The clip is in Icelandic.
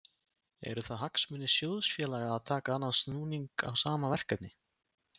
Eru það hagsmunir sjóðfélaga að taka annan snúning á sama verkefni?